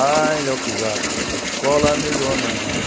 Ai, Léo Pisato, escola melhor não há.